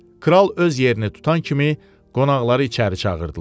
Kral öz yerini tutan kimi qonaqları içəri çağırdılar.